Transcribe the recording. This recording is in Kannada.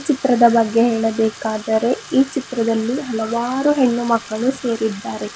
ಚಿತ್ರದ ಬಗ್ಗೆ ಹೇಳಬೇಕಾದರೆ ಈ ಚಿತ್ರದಲ್ಲಿ ಹಲವಾರು ಹೆಣ್ಣು ಮಕ್ಕಳು ಸೇರಿದ್ದಾರೆ.